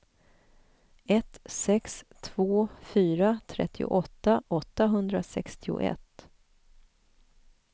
ett sex två fyra trettioåtta åttahundrasextioett